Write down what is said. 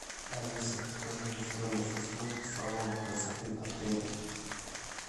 алиса скажи мне стоимость услуг салона красоты отеля